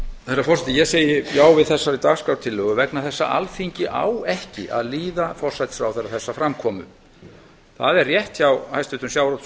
herra forseti ég segi já við þessari dagskrártillögu vegna þess að alþingi á ekki að líða forsætisráðherra þessa framkomu það er rétt hjá hæstvirtum sjávarútvegs og landbúnaðarráðherra